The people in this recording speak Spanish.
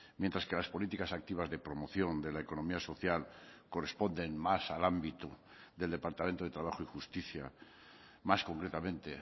mientras que las políticas activas de promoción de la economía social corresponden más al ámbito del departamento de trabajo y justicia más concretamente